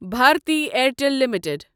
Bharti Airtel limited